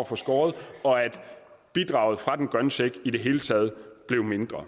at få skåret og at bidraget fra den grønne check i det hele taget blev mindre